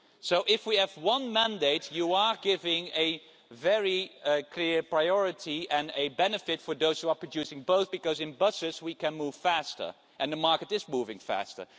So if we have one mandate, you are giving very clear priority and a benefit for those who are producing both because, in buses, we can move faster, and the market is moving faster.